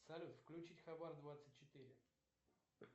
салют включить хабар двадцать четыре